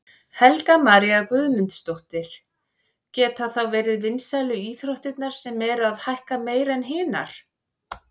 Helga María Guðmundsdóttir: Geta þá verið vinsælu íþróttirnar sem eru að hækka meira en hinar?